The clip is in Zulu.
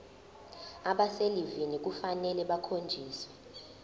abaselivini kufanele bakhonjiswe